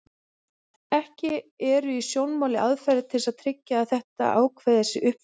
Ekki eru í sjónmáli aðferðir til að tryggja að þetta ákvæði sé uppfyllt.